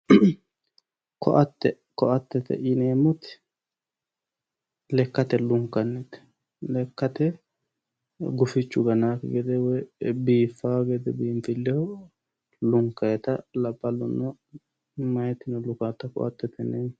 ko'ate ko'atete yineemmoti lekkate lunkannite lekka gufichu ganaakki gede biifawo gede biinfilleho lunkannita meyatino labbaahuno lukaata ko'atete yineemmo